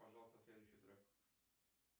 пожалуйста следующий трек